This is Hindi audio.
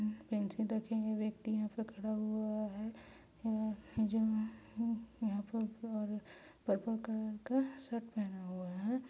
पेंसिल रखे हुए व्यक्ति यहाँ पे खड़ा हुआ हैं जो यहाँ प पर पर्पल कलर का शर्ट पहना हुआ हैं।